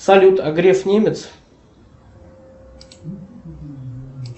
салют а греф немец